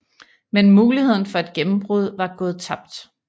Men muligheden for et gennembrud var gået tabt